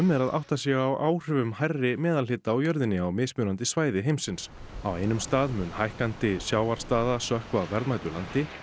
er að átta sig á áhrifum hærri meðalhita á jörðinni á mismunandi svæði heimsins á einum stað mun hækkandi sjávarstaða sökkva verðmætu landi